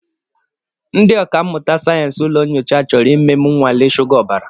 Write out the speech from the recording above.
Ndị ọkà mmụta sayensị ụlọ nyocha chọrọ ime m nnwale shuga ọbara.